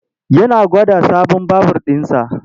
Yana gwada sabon babur ɗinsa.